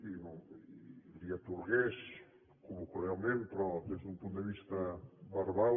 i li atorgués col·loquialment però des d’un punt de vista verbal